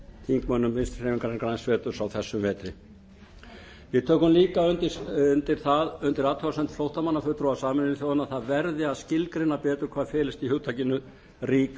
þingmönnum vinstri hreyfingarinnar græns framboðs á þessum vetri við tökum líka undir athugasemd flóttamannafulltrúa sameinuðu þjóðanna að það verði að skilgreina betur hvað felist í hugtakinu rík